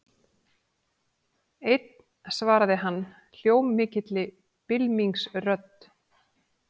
Einn svaraði hann hljómmikilli bylmingsrödd.